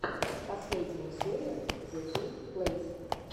последняя серия зе кейн плэйс